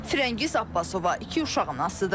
Fərəngiz Abbasova iki uşaq anasıdır.